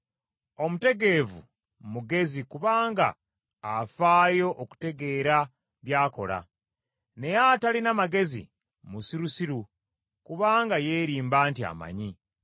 Omutegeevu mugezi kubanga afaayo okutegeera by’akola, naye atalina magezi musirusiru kubanga yeerimba nti amanyi.